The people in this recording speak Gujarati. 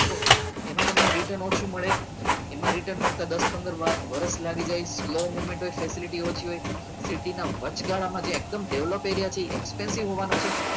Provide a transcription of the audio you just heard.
એમાં તમને return મળે એમાં return મળતા દસ પંદર વર્ષ લાગી જાય લો movement હોય facility ઓછી હોય સિટીના વોચ ગાડામાં જે એકદમ develop એ રહ્યા છે expensive હોવાનો છે